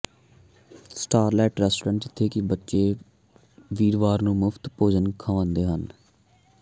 Charlotte restaurant ਜਿੱਥੇ ਕਿ ਬੱਚੇ ਵੀਰਵਾਰ ਨੂੰ ਮੁਫਤ ਭੋਜਨ ਖਾਉਂਦੇ ਹਨ